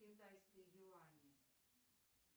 китайской юани